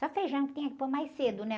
Só feijão que tinha que pôr mais cedo, né?